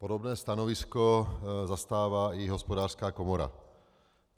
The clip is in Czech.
Podobná stanovisko zastává i Hospodářská komora.